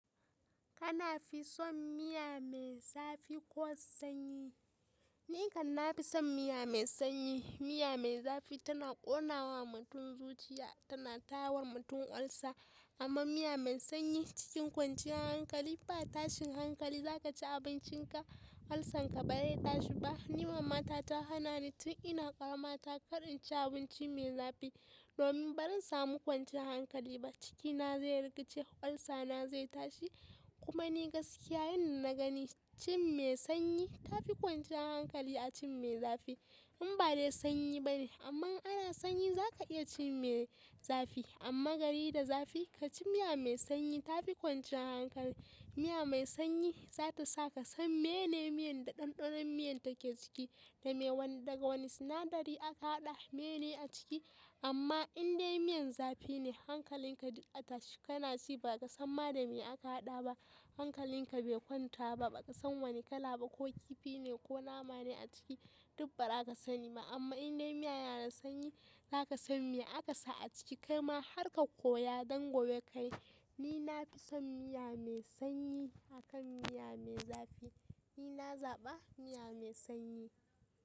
Kana fi son miya mai zafi ko sanyi? Ni kan na fi son miya mai sanyi. Miya mai zafi tana ƙonawa mutum zuciya, tana tawa mutum olsa. Amma miya mai sanyi cikin kwanciyar hankali ba tashin hankali za ka ci abincinka, olsa nka ba zai tashi ba. Ni mama ta ta hana ni tun ina ƙarama ta kar in ci abinci mai zafi, domin barin samu kwanciyar hankali ba, cikina zai rikaice, olsana zai tashi. Kuma ni gaskiyya yanda na gani, cin mai sanyi tafi kwanciyar hankali a cin mai zafi. In ba dai sanyi bane, amma in ana sanyi za ka iya cin mai zafi. Amma gari da zafi ka ci miya mai sanyi tafi kwanciyar hankali. Miya mai sanyi za ta sa ka san mene miyan da ɗanɗanon miyan take ciki, da me wanda daga wani sinadari aka haɗa. Kana fi son miya mai zafi ko sanyi? Ni kam na fi son miya mai sanyi. Hankalinka bai kwanta ba, ba ka san wani kala ba ko kifi ne ko nama ne a ciki duk ba za ka sani ba. Amma in dai miya yana da sanyi za ka san me aka sa a ciki, kai ma har ka koya don gobe ka yi. Ni na fi son miya mai sanyi akan miya mai zafi. Ni na zaɓa miya mai sanyi.